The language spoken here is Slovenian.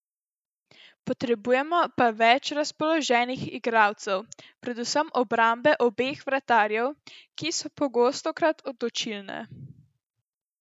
Potrebujemo pa več razpoloženih igralcev, predvsem obrambe obeh vratarjev, ki so pogostokrat odločilne.